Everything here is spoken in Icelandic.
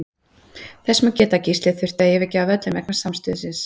Þess má líka geta að Gísli þurfti að yfirgefa völlinn vegna samstuðsins.